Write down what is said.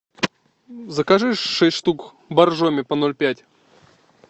закажи шесть штук боржоми по ноль пять